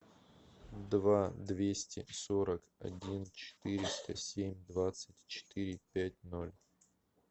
два двести сорок один четыреста семь двадцать четыре пять ноль